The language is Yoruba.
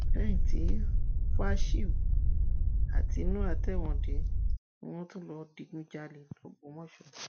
lẹ́yìn tí fáṣíù àti noah tẹwọn dé ni wọn tún lọọ digunjalè lógbómọṣọ